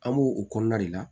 An b'o o kɔnɔna de la